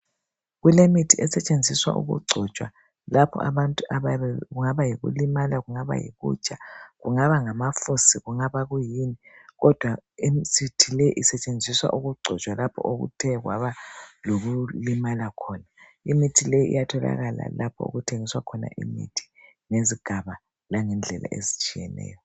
Kulemithi esetshenziswa ukugcotshwa ,lapho abantu abayabe....kungaba yikulimala, kungaba yulikutsha, kungaba ngamafusi, kungaba yikuyini, kodwa sithi leyi isetshenziswa ukugcotshwa lapha, okuthe kwaba lokulimala khona. Imithi le iyatholakala lapha okuthengiswa khona imithi. Ngezigaba, langendlela ezitshiyeneyo.